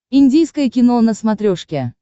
индийское кино на смотрешке